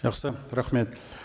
жақсы рахмет